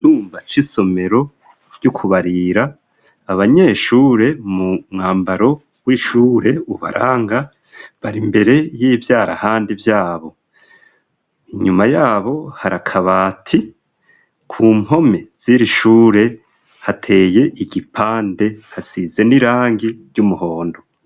Icumba c isomero ryo kubarira, abanyeshure mu mwambaro w'ishure ubaranga bari mbere y'ivyarahandi vyabo. Inyuma yabo hari akabati. Ku mpome z' iri shure hateye igipande, hasize n'irangi ry'umuhondo.